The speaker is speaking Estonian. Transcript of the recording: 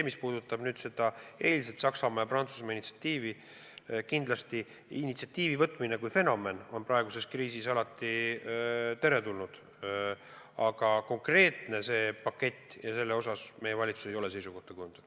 Mis puudutab seda eilset Saksamaa ja Prantsusmaa initsiatiivi, siis kindlasti initsiatiivi haaramine kui fenomen on praeguses kriisis teretulnud, aga konkreetselt selle paketi osas meie valitsus ei ole seisukohta kujundanud.